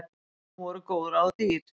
Ný voru góð ráð dýr.